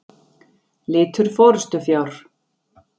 Litur forystufjár.